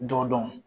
Dɔ dɔn